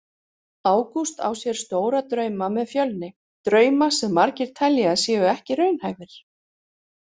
Ágúst á sér stóra drauma með Fjölni, drauma sem margir telja að séu ekki raunhæfir.